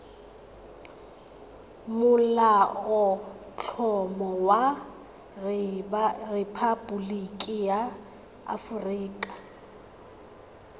molaotlhomo wa rephaboliki ya aforika